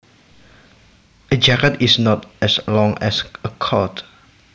A jacket is not as long as a coat